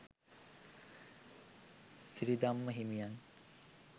සිරිධම්ම හිමියන්